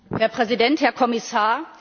Herr Präsident, Herr Kommissar!